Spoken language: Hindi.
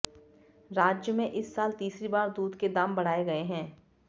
राज्य में इस साल तीसरी बार दूध के दाम बढ़ाए गए हैं